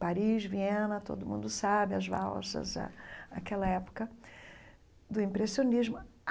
Paris, Viena, todo mundo sabe as valsas ah aquela época, do impressionismo.